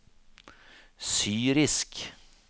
syrisk